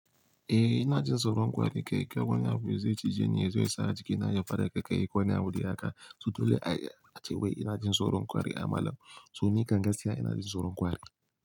Ina jin tsoron kwari, ke ko wane abu yazo cije ni, yazo sa jiki na ya fara, kaikayi ko wane abu dai haka, to dole a ce wai ina jin tsoron kwari a malam. Toh ni kam gaskiya ina jin tsoron kwari.